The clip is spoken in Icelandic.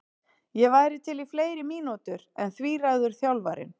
Ég væri til í fleiri mínútur en því ræður þjálfarinn.